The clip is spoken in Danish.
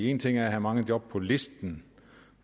en ting er at have mange job på listen